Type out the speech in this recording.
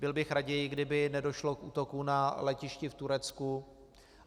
Byl bych raději, kdyby nedošlo k útoku na letišti v Turecku.